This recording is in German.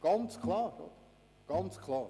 Das ist ganz klar.